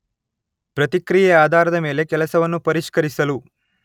ಪ್ರತಿಕ್ರಿಯೆ ಆಧಾರದ ಮೇಲೆ ಕೆಲಸವನ್ನು ಪರಿಷ್ಕರಿಸಲು.